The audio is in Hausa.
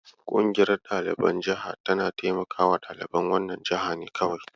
Ƙungiyar ɗaliban jaha tana taimaka ɗaliban wannan jihar ne kawai.